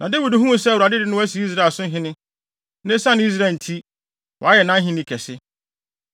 Na Dawid huu sɛ Awurade de no asi Israel so hene, na esiane Israel nti, wayɛ nʼahenni kɛse.